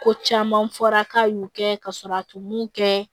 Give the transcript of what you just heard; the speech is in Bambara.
Ko caman fɔra k'a y'u kɛ ka sɔrɔ a tun m'u kɛ